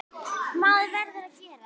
Maður, hvað er að gerast?